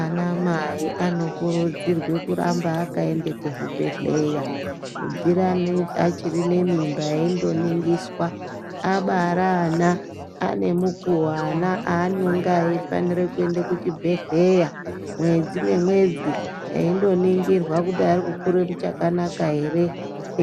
Anamai anokurudzirwe kuramba akaende kuzvibhedhlera kubviraneyi achiri nemimba endooningiswa, abara ana ane mukuwo ana anonga aeifanira kuenda kuchibhedhlera mwedzi nemwedzi veindoningirwa kuti arikukure muchakanaka ere,